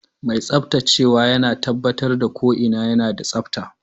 Mai tsaftacewa yana tabbatar da ko'ina yana da tsabta.